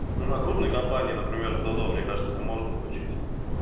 ну на крупной компании например в до до кажется это можно включить